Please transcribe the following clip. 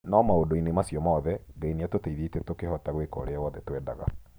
No maũndũ-inĩ macio mothe, Ngai nĩatũteithĩtie tũkĩhota gwĩka ũrĩa wothe twendaga.